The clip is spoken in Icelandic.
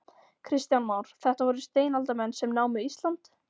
Kristján Már: Þetta voru steinaldarmenn sem námu Ísland?